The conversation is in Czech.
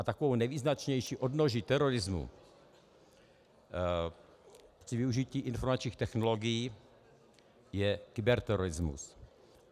A takovou nejvýznačnější odnoží terorismu při využití informačních technologií je kyberterorismus.